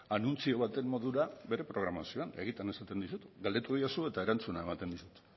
anuntzio baten modura bere programazioan egiten esaten dizut galdetu diozu eta erantzuna ematen dizut